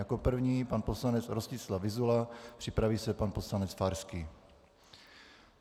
Jako první pan poslanec Rostislav Vyzula, připraví se pan poslanec Farský.